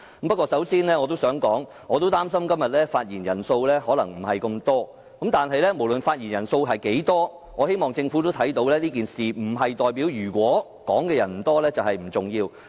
不過，我要先指出，我也擔心今天的發言人數可能不多，但無論發言人數多寡，也希望政府明白即使發言人數不多，並不代表這宗事件不重要。